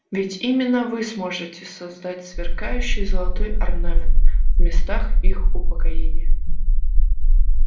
ведь именно вы сможете создать сверкающий золотой орнамент в местах их упокоения